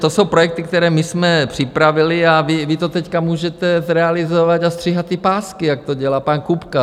To jsou projekty, které my jsme připravili a vy to teď můžete zrealizovat a stříhat ty pásky, jak to dělá pan Kupka.